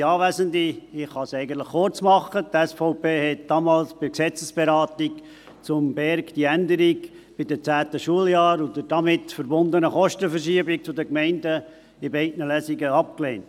Die SVP lehnte damals bei der Gesetzesberatung zum BerG die Änderung bei den 10. Schuljahren und die damit verbundene Kostenverschiebung zu den Gemeinden in beiden Lesungen ab.